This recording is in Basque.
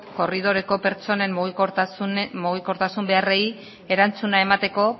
korridoreko pertsonen mugikortasun beharrei erantzuna emateko